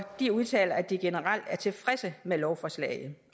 de udtaler at de generelt er tilfredse med lovforslaget